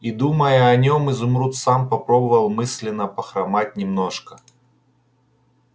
и думая о нем изумруд сам попробовал мысленно похромать немножко